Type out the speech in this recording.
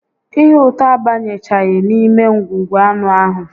Ihe ụtọ abanyechaghị n'ime ngwugwu anụ ahụ